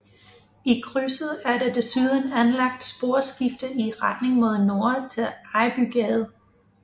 I krydset er der desuden anlagt sporskifter i retning mod nord til Ejbygade